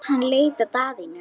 Hann leit á Daðínu.